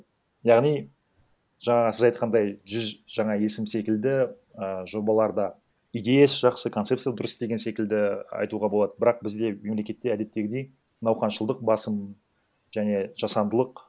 яғни жаңағы сіз айтқандай жүз жаңа есім секілді і жобаларда идеясы жақсы концепция дұрыс деген секілді айтуға болады бірақ бізде мемлекетте әдеттегідей науқаншылдық басым және жасандылық